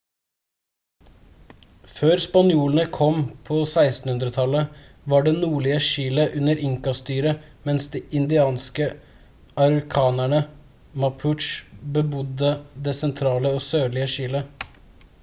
før spanjolene kom på 1600-tallet var det nordlige chile under inca-styre mens de indianske araucanerne mapuche bebodde det sentrale og sørlige chile